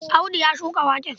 Audu ya shuka waken.